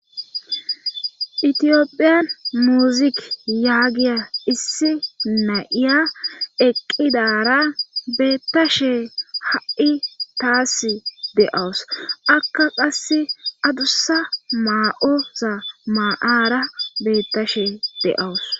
itiyophiyan muzik yaagiya issi nayiya eqqidara beettashe ha'i taas de'awus akka qasse adussa maa'oza maa'ara beettashe de'awus